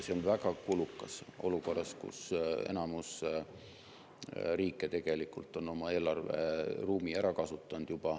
See on väga kulukas olukorras, kus enamik riike tegelikult on oma eelarveruumi juba ära kasutanud.